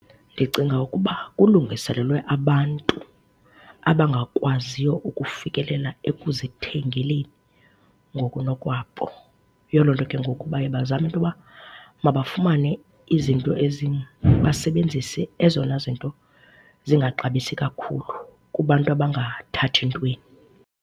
Ndicinga ukuba kulungiselelwe abantu abangakwaziyo ukufikelela ekuzithengeleni ngokunokwabo. Yiyo loo nto ke ngoku baye bazame into uba mabafumane izinto ezi basebenzise ezona zinto zingaxabisi kakhulu kubantu abangathathi ntweni.